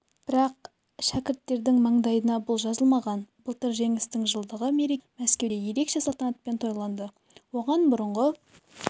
бірақ шәкірттерінің маңдайына бұл жазылмаған былтыр жеңістің жылдығы мерекесі мәскеуде ерекше салтанатпен тойланды оған бұрынғы